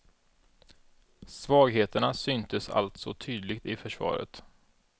Svagheterna syntes alltså tydligt i försvaret.